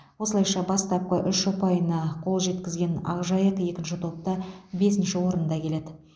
осылайша бастапқы үш ұпайына қол жеткізген ақжайық екінші топта бесінші орында келеді